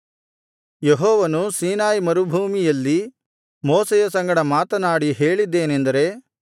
ಯೆಹೋವನು ಸೀನಾಯಿ ಮರುಭೂಮಿಯಲ್ಲಿ ಮೋಶೆಯ ಸಂಗಡ ಮಾತನಾಡಿ ಹೇಳಿದ್ದೇನೆಂದರೆ